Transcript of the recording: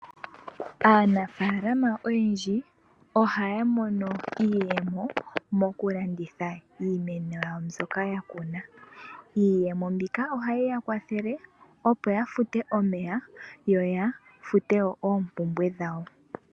Aanafaalama oyendji ohaya mono iiyemo mokulanditha iimeno yawo mbyoka yakuna. Iiyemo mbika ohayi yakwathele opo yafute omeya yo yafute oompumbwe dhawo.